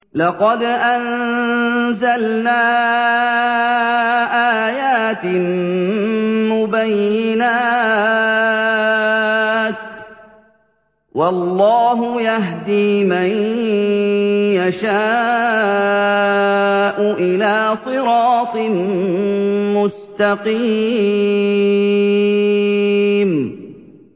لَّقَدْ أَنزَلْنَا آيَاتٍ مُّبَيِّنَاتٍ ۚ وَاللَّهُ يَهْدِي مَن يَشَاءُ إِلَىٰ صِرَاطٍ مُّسْتَقِيمٍ